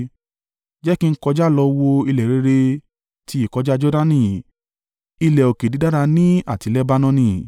Jẹ́ kí n kọjá lọ wo ilẹ̀ rere ti ìkọjá Jordani, ilẹ̀ òkè dídára nì àti Lebanoni.”